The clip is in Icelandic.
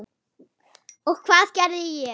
Og hvað gerði ég?